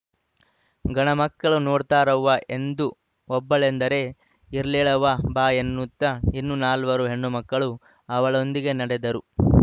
ಗಣಮಕ್ಕಳು ನೋಡ್ತಾರವ್ವ ಎಂದು ಒಬ್ಬಳೆಂದರೆ ಇರ್ಲೇಳವ್ವ ಬಾ ಎನ್ನುತ್ತ ಇನ್ನೂ ನಾಲ್ವಾರು ಹೆಣ್ಣುಮಕ್ಕಳು ಅವಳೊಂದಿಗೆ ನಡೆದರು